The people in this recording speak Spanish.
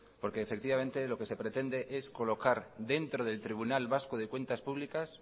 porque efectivamente lo que se pretende es colocar dentro del tribunal vasco de cuentas públicas